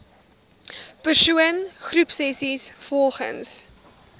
persoon groepsessies volgens